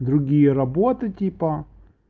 другие работы типа